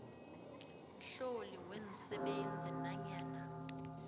mhloli weensebenzi nanyana